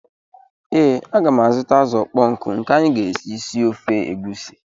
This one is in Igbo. Ee, aga m azụta azụ̀ ọkpọ nkụ nke anyị ga-eji sie ofe egusi.